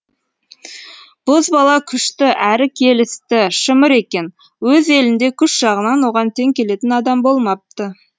бозбала күшті әрі келісті шымыр екен өз елінде күш жағынан оған тең келетін адам болмапты